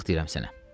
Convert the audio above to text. Qalx deyirəm sənə.